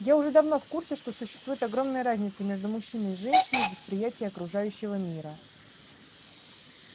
я уже давно в курсе что существует огромная разница между мужчиной и женщиной в восприятии окружающего мира